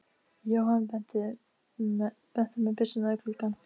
Gengu þau svo um landareignina og spurði komumaður margs.